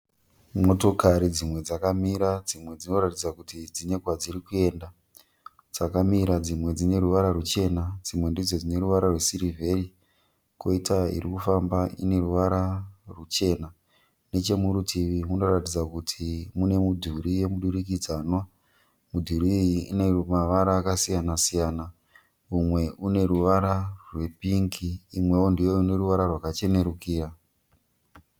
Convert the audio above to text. Motokari dzimwe dzakamira dzimwe dzinoratidza kuti dzine kwadziri kuenda. Dzakamira dzimwe dzine ruvara ruchena dzimwe ndidzo dzine ruvara rwesirivheri. Koita iri kufamba ine ruvara ruchena. Nechemurutivi munoratidza kuti mune midhuri yemudurikidzanwa. Midhuri iyi ine mavara akasiyana siyana. Umwe une ruvara rwepingi imwewo ndiyo ine ruvara rwakachenerukira.